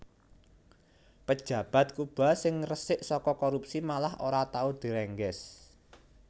Pejabat Kuba sing resik soko korupsi malah ora tau direngges